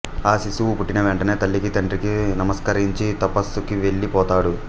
ఆ శిశువు పుట్టిన వెంటనే తల్లికి తండ్రికి నమస్కరించి తపస్సుకి వెళ్ళి పోతాడు